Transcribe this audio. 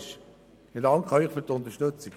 Ich danke Ihnen für die Unterstützung.